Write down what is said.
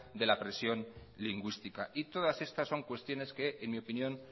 de la presión lingüística y todas estas son cuestiones que en mi opinión